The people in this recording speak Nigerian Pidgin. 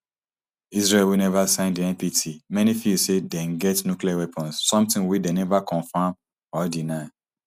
israel wey neva sign di npt many feel say dem get nuclear weapons something wey dem neva confam or deny